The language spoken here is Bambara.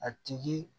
A tigi